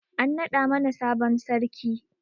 An naɗa mana sabon sarki